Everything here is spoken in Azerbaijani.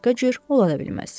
Başqa cür ola da bilməz.